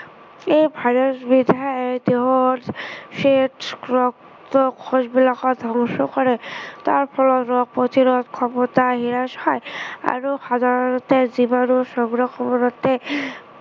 এই virus বিধে দেহৰ শেষ ৰক্তকোষ বিলাকো ধ্বংস কৰে। তাৰফলত ৰোগ প্ৰতিৰোধ ক্ষমতা হ্ৰাস হয়। আৰু সাধাৰণতে বিজাণু সংক্ৰমণতে